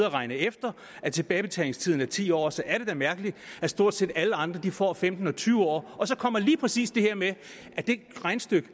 og regnet efter at tilbagebetalingstiden er ti år og så er det da mærkeligt at stort set alle andre får femten eller tyve år og så kommer lige præcis det her med at det regnestykke